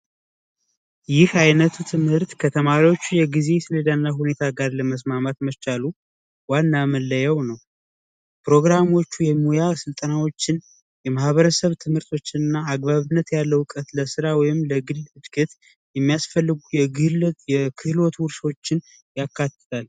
ይህ አይነቱ ትምህርት ከተማሪዎች የግዥና ሁኔታ ጋር ለመስማማት መቻሉ ዋና መለየት ፕሮግራሞቹ የሙያ ስልጠናዎችን የማህበረሰብ ትምህርቶችና አግባብነት ያለው እውቀት ለራ ወይም የሚያስፈልጉ የግል ክህሎት ውሾችን